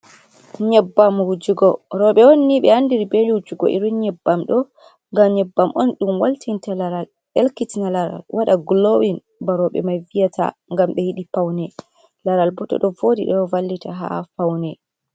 Nyebbam wujugo, robe onnni be andiri bel wujugo irin nyebbam ɗo ngam nyebbam on dum waltinta laral, ɗelkitina laral wada glowin ba robe mai viyata. gam be yiɗi paune laral bo do do vodi do vallita ha paune.